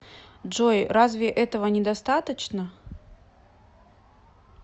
джой разве этого недостаточно